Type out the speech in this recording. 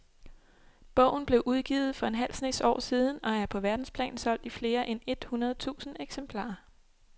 Bogen blev udgivet for en halv snes år siden og er på verdensplan solgt i flere end et hundrede tusind eksemplarer.